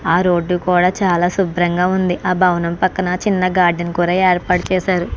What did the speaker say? అ road కూడ చాల శుభ్రంగా ఉంది ఆ భవనం పక్కన చిన్న గార్డెన్ కూడా ఏర్పాటు చేసారు.